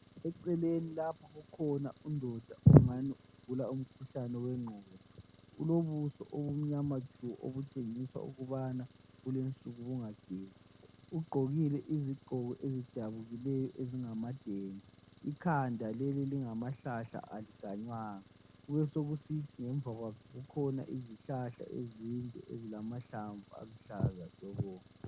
Eceleni lapha ukhona undoda ongani ugula umkhuhlane wengqondo. Ulobuso obumnyama tshu obutshengisa ukubana bulensuku bungagezi, ugqokile izigqoko ezidabukileyo ezingama dende, ikhanda leli lingamahlahla alikanywanga, kube sokusithi ngemva kwakhe kukhona izihlahla ezinde ezilamahlamvu aluhlaza tshoko.